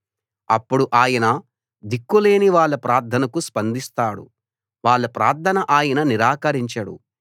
అప్పుడు ఆయన దిక్కులేని వాళ్ళ ప్రార్థనకు స్పందిస్తాడు వాళ్ళ ప్రార్థన ఆయన నిరాకరించడు